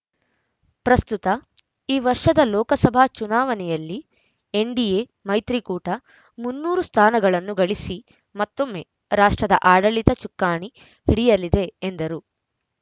ಪ್ರಸ್ತುತ ಈ ವರ್ಷದ ಲೋಕಸಭಾ ಚುನಾವಣೆಯಲ್ಲಿ ಎನ್‌ಡಿಎ ಮೈತ್ರಿಕೂಟ ಮುನ್ನೂರು ಸ್ಥಾನಗಳನ್ನು ಗಳಿಸಿ ಮತ್ತೊಮ್ಮೆ ರಾಷ್ಟ್ರದ ಆಡಳಿತ ಚುಕ್ಕಾಣಿ ಹಿಡಿಯಲಿದೆ ಎಂದರು